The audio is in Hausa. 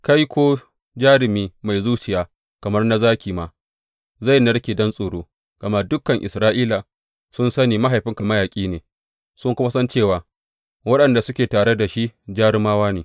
Kai, ko jarumi mai zuciya kamar na zaki ma, zai narke don tsoro, gama dukan Isra’ila sun sani mahaifinka mayaƙi ne, sun kuma san cewa waɗanda suke tare da shi jarumawa ne.